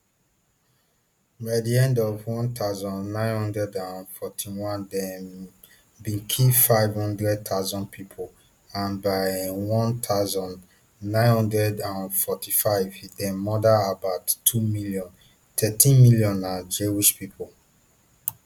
by di end of one thousand, nine hundred and forty-one dem um bin kill five hundred thousand pipo and by um one thousand, nine hundred and forty-five dem murder about two million thirteen million na jewish pipo